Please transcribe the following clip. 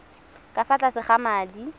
ka fa tlase ga madi